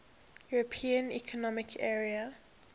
european economic area